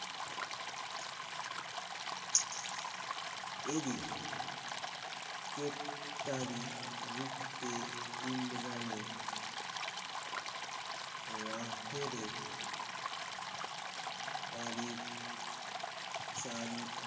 এ দিন কেপ তারই রূপ তে ইমরানের লাহোরের পারিত চারিত